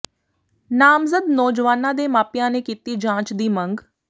ਨਾਮਜ਼ਦ ਨੌਜਵਾਨਾਂ ਦੇ ਮਾਪਿਆਂ ਨੇ ਕੀਤੀ ਜਾਂਚ ਦੀ ਮੰਗ